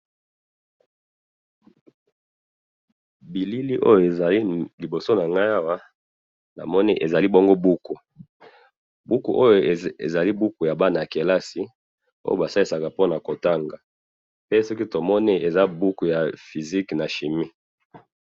Bilili oyo ezali liboso na nga awa, na moni ezali buku ya bana kelasi, oyo basalisaka po na ko tanga, eza buku ya physique na chimie.